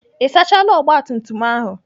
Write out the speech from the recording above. Ị sachaala ogbatumtum ahụ?